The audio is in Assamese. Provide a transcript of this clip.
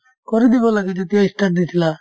কৰি দিব লাগে যেতিয়াই ই start দিছিলা